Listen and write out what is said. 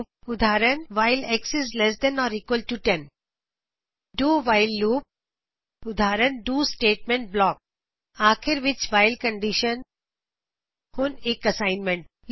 ਉਦਾਹਰਨ while x is less than or equal to 10 do while loop do while loop ਉਦਾਹਰਨ do statement block - ਅਤੇ ਆਖਿਰ ਵਿਚ while condition assignment ਦੇ ਤੌਰ ਤੇ